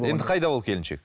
енді қайда ол келіншек